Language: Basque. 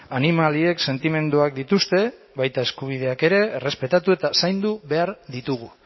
animaliek sentimenduak dituzte baita eskubideak ere errespetatu eta zaindu behar ditugu